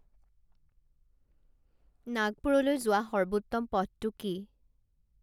নাগপুৰলৈ যোৱা সৰ্বোত্তম পথটো কি